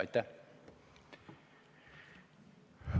Aitäh!